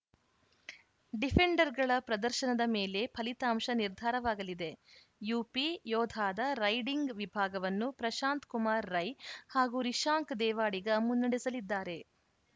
ಡಿಫೆಂಡರ್‌ಗಳ ಪ್ರದರ್ಶನದ ಮೇಲೆ ಫಲಿತಾಂಶ ನಿರ್ಧಾರವಾಗಲಿದೆ ಯುಪಿಯೋಧಾದ ರೈಡಿಂಗ್‌ ವಿಭಾಗವನ್ನು ಪ್ರಶಾಂತ್‌ ಕುಮಾರ್‌ ರೈ ಹಾಗೂ ರಿಶಾಂಕ್‌ ದೇವಾಡಿಗ ಮುನ್ನಡೆಸಲಿದ್ದಾರೆ